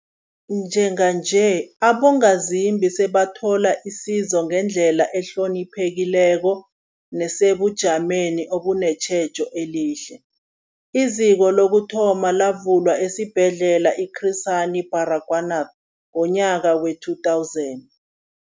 Njenganje, abongazimbi sebathola isizo ngendlela ehloniphekileko nesebujameni obunetjhejo elihle. IZiko lokuthoma lavulwa esiBhedlela i-Chris Hani Baragwanath ngomnyaka we-2000.